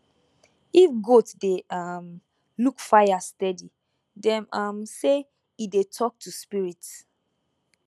if goat dey um look fire steady dem um say e dey talk to spirits